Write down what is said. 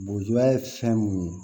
Bojuba ye fɛn mun ye